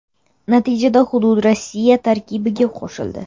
Natijada hudud Rossiya tarkibiga qo‘shildi.